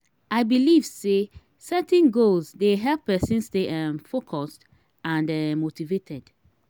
i dey believe say setting goals dey help pesin stay um focused and um motivated.